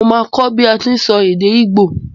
Mo máa kó bi a ti n sọ èdè igbo